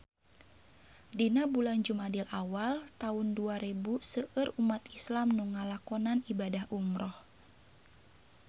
Dina bulan Jumadil awal taun dua rebu seueur umat islam nu ngalakonan ibadah umrah